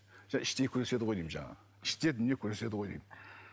іштей күреседі ғой деймін жаңағы іште дүние күреседі ғой деймін